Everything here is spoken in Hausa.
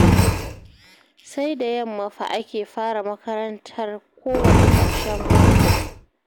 Sai da yamma fa ake fara makarantar kowanne ƙarshen mako